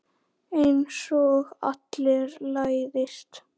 Einsog allir læðist.